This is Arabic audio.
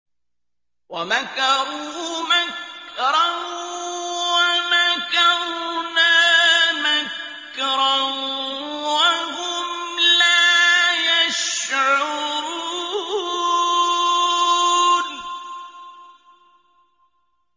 وَمَكَرُوا مَكْرًا وَمَكَرْنَا مَكْرًا وَهُمْ لَا يَشْعُرُونَ